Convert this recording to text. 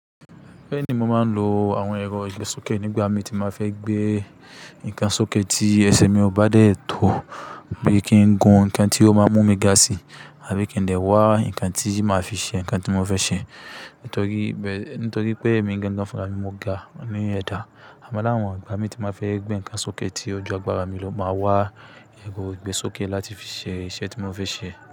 Bẹ́ẹ̀ni, mo máa ń lo àwọn ẹ̀rọ ìgbésókè nígbà mi tí màá fẹ́ gbé ǹkan sókè tí ẹsẹ̀ mi ò bá dẹ tó bí kí ń gun ǹkan tí ó máa mú mi ga sí àbí kí ń dẹ́ wá ǹkan tí màá fi ṣe ǹkan tí mo fẹ́ ṣe. Nítorí bẹ́, nítorí pé èmi gan-gan fúnra mi mo ga ní ẹ̀dà. Àmọ́ láwọn ìgbà mi tí màá fẹ́ gbé ǹkan sókè tí ojú agbára mi ló máa wá ẹ̀rọ ìgbésókè láti fi ṣe iṣẹ́ tí mo fẹ́ ṣe.